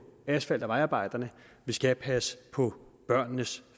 asfalt og vejarbejderne vi skal passe på børnenes